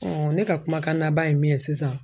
ne ka kumakan naban ye min ye sisan